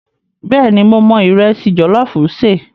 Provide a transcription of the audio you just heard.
Bẹ́ẹ̀ni, mo mọ ìrẹsì jọ̀lọ́ọ̀fù ṣe.